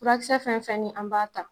Furakisɛ fɛn fɛn ni an b'a ta